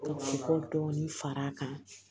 Ka ko dɔɔnin fara a kan